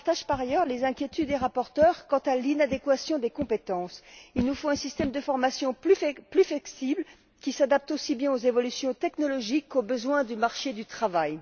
Je partage, par ailleurs, les inquiétudes des rapporteurs quant à l'inadéquation des compétences. Il nous faut un système de formation plus flexible qui s'adapte aussi bien aux évolutions technologiques qu'aux besoins du marché du travail.